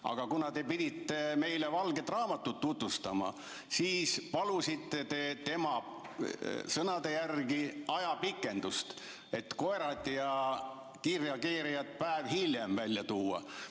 Aga kuna te pidite meile valget raamatut tutvustama, siis palusite te tema sõnade järgi ajapikendust, et koerad ja kiirreageerijad päev hiljem välja tuua.